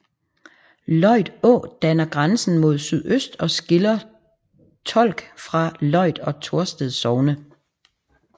Løjt Å danner grænsen mod sydøst og skiller Tolk fra Løjt og Torsted sogne